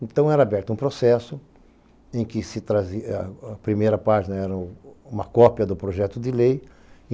Então, era aberto um processo em que a primeira página era uma cópia do projeto de lei.